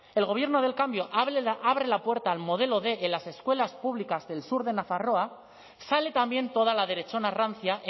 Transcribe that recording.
el gobierno del cambio abre la puerta al modelo quinientos en las escuelas públicas del sur de nafarroa sale también toda la derechona rancia